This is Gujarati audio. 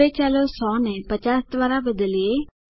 હવે ચાલો 100 ને 50 દ્વારા બદલીએ